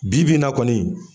Bi bi in na kɔni